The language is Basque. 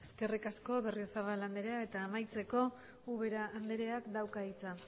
eskerrik asko berriozabal anderea eta amaitzeko ubera andereak dauka hitza